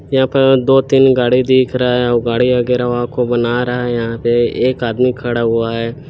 यहाँ पर दो तीन गाडी दिख रहा है वो गाड़ी वगेरा बना रहा है यहाँ पे एक आदमी खड़ा हुआ है।